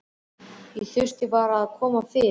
Ég þurfti bara að koma fyrr.